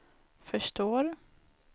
förstår